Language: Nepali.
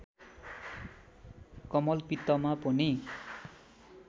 कमलपित्तमा पनि